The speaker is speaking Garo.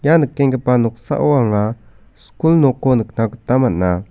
ia nikenggipa noksao anga skul nokko nikna gita man·a.